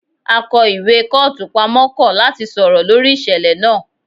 Akó ìwé kọ́ọ̀tù pamọ́ kọ̀ láti sọ̀rọ̀ lórí ìṣẹ̀lẹ̀ náà